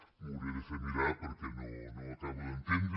m’ho hauré de fer mirar perquè no ho acabo d’entendre